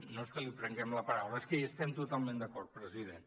no és que li prenguem la paraula és que hi estem totalment d’acord president